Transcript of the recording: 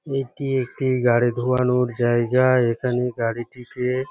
এটি একটি গাড়ি ধোয়ানোর জায়গা এখানে গাড়িটিকে--